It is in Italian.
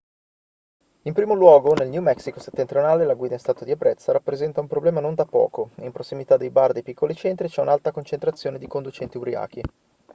in primo luogo nel new mexico settentrionale la guida in stato di ebbrezza rappresenta un problema non da poco in prossimità dei bar dei piccoli centri c'è un'alta concentrazione di conducenti ubriachi